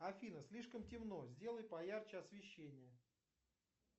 афина слишком темно сделай поярче освещение